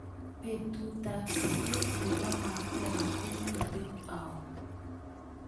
Betutap siget ne po Makokha ko miten au